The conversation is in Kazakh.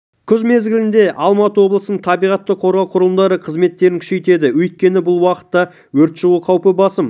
күз мезгілінде алматы облысының табиғатты қорғау құрылымдары қызметтерін күшейтеді өйткені бұл уақытта өрт шығу қаупі басым